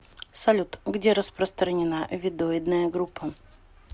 салют где распространена веддоидная группа